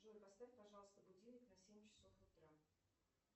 джой поставь пожалуйста будильник на семь часов утра